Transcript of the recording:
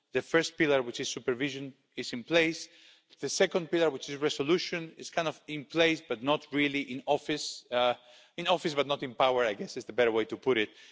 The first pillar, which is supervision, is in place. The second pillar, which is resolution, is kind of in place, but not really in office in office but not in power' I guess is a better way to put it.